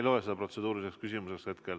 Ma ei loe seda protseduuriliseks küsimuseks.